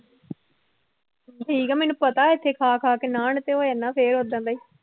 ਠੀਕ ਹੈ ਮੈਨੂੰ ਪਤਾ ਏਥੇ ਖਾ ਖਾ ਕੇ ਨਾਨ ਤੇ ਹੋ ਜਾਨਾ ਫਿਰ ਓਦਾਂ ਦਾ ਹੀ।